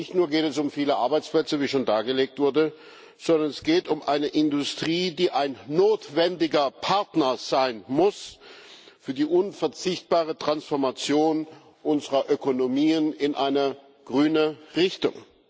Nicht nur geht es um viele Arbeitsplätze wie schon dargelegt wurde sondern es geht um eine Industrie, die ein notwendiger Partner sein muss für die unverzichtbare Transformation unserer Ökonomien in eine grüne Richtung.